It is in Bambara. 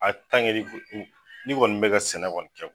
A tange ni kɔni be ka sɛnɛ kɔni kɛ